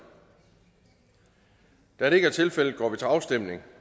da det ikke er tilfældet går vi til afstemning